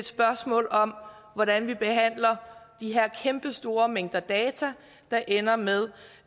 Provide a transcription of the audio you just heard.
spørgsmålet om hvordan vi behandler de her kæmpe store mængder af data der ender med